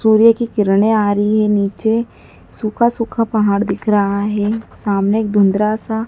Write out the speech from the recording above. सूर्य की किरणे आ रही है नीचे सूखा सूखा पहाड़ दिख रहा है सामने एक धुंधला सा--